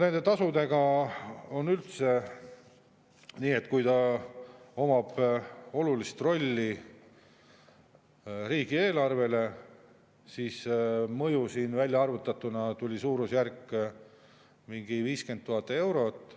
Nende tasudega on üldse nii, et kui see omab olulist rolli riigieelarvele, siis mõju siin välja arvutatuna tuli suurusjärgus mingi 50 000 eurot.